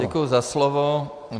Děkuji za slovo.